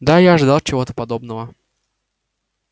да я ожидал чего-то подобного